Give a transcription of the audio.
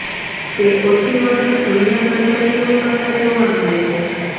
તે ઓછી વખત અન્ય પ્રજાતિઓ કરતાં જોવા મળે છે